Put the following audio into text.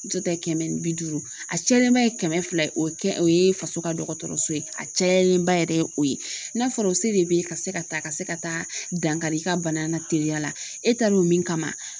Muso ta ye kɛmɛ ni bi duuru ,a cayalenba ye kɛmɛ fila ye. O ye kɛ, o ye faso ka dɔgɔtɔrɔso ye. A cayalenba yɛrɛ o ye n'a fɔra o se de be ye ka se ka taa ka se ka dankari i ka bana na teliya la e taaro min kama